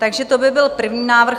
Takže to by byl první návrh.